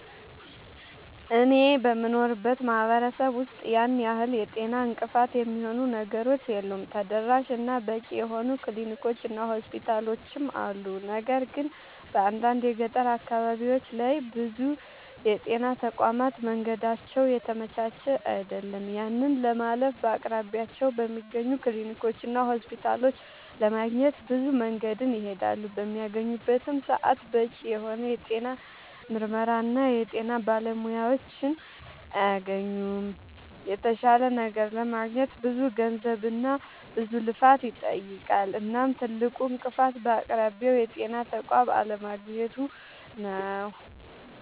አኔ በምኖርበት ማህበረሰብ ውስጥ ያን ያህል የጤና እንቅፋት የሚሆኑ ነገሮች የሉም ተደራሽ እና በቂ የሆኑ ክሊኒኮች እና ሆስፒታሎችም አሉ። ነገር ግን በአንዳንድ የገጠር አካባቢዎች ላይ ብዙ የጤና ተቋማት መንገዳቸው የተመቻቸ አይደለም። ያንን ለማለፍ በአቅራቢያቸው በሚገኙ ክሊኒኮችና ሆስፒታሎች ለማግኘት ብዙ መንገድን ይሄዳሉ። በሚያገኙበትም ሰዓት በቂ የሆነ የጤና ምርመራና የጤና ባለሙያዎችን አያገኙምና የተሻለ ነገር ለማግኘት ብዙ ገንዘብና ብዙ ልፋትን ይጠይቃል። እናም ትልቁ እንቅፋት በአቅራቢያው የጤና ተቋም አለማግኘቱ ነዉ